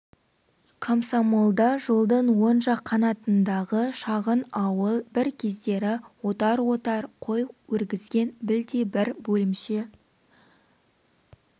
комсомол да жолдың оң жақ қанатындағы шағын ауыл бір кездері отар-отар қой өргізген білдей бір бөлімше